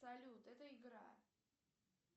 салют это игра